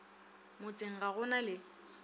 motseng ga go na le